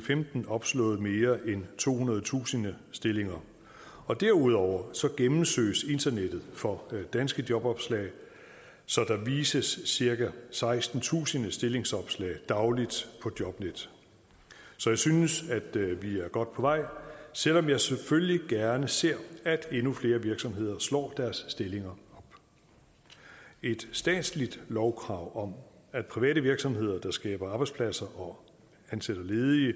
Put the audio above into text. femten opslået mere end tohundredetusind stillinger og derudover gennemsøges internettet for danske jobopslag så der vises cirka sekstentusind stillingsopslag dagligt på jobnet så jeg synes at vi er godt på vej selv om jeg selvfølgelig gerne ser at endnu flere virksomheder slår deres stillinger op et statsligt lovkrav om at private virksomheder der skaber arbejdspladser og ansætter ledige